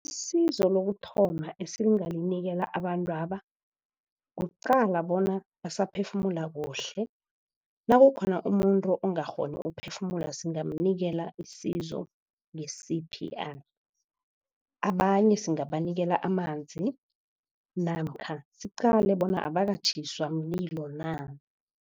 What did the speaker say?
Isizo lokuthoma esingalinikela abantwaba kuqala bona basaphefumula kuhle. Nakukhona umuntu ongakghoni ukuphefumula simnganikela isizo nge-C_P_R. Abanye singabanikela amanzi namkha siqale bona abakatjhiswa mlilo na.